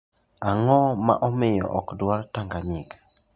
Ang'o ma omiyo ok dwar Tanzania?